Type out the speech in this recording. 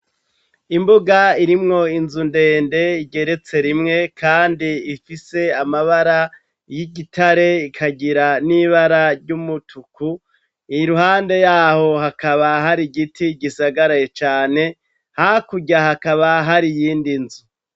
Imbuga irimwo inzu ndende igeretse rimwe kandi ifise amabara y'igitare ikagira n'ibara ry'umutuku, iruhande yaho hakaba hari igiti gisagaraye cane, hakurya hakaba hari iyindi nzu.